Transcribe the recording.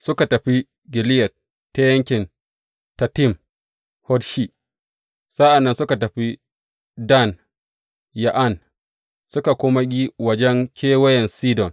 Suka tafi Gileyad ta yankin Tatim Hodshi, sa’an nan suka tafi Dan Ya’an, suka kuma yi wajen kewaye Sidon.